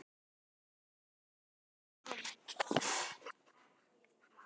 Hvað vissi hann?